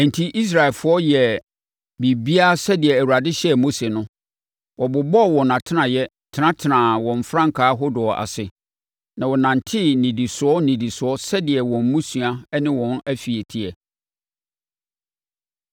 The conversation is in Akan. Enti Israelfoɔ yɛɛ biribiara sɛdeɛ Awurade hyɛɛ Mose no. Wɔbobɔɔ wɔn atenaeɛ, tenatenaa wɔn frankaa ahodoɔ ase, na wɔnantee nnidisoɔ nnidisoɔ sɛdeɛ wɔn mmusua ne wɔn afie teɛ.